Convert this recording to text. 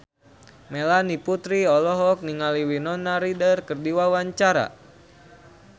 Melanie Putri olohok ningali Winona Ryder keur diwawancara